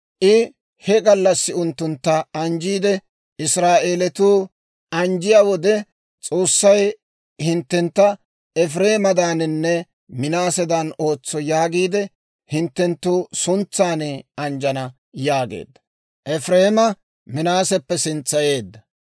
I he gallassi unttuntta anjjiide, «Israa'eelatuu anjjiyaa wode, ‹S'oossay hinttentta Efireemedaaninne Minaasedan ootso› Yaagiide hinttenttu suntsan anjjana» yaageedda. Efireema Minaaseppe sintsayeedda.